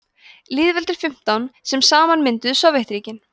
lýðveldin fimmtán sem saman mynduðu sovétríkin